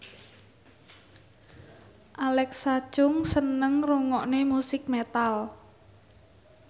Alexa Chung seneng ngrungokne musik metal